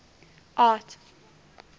art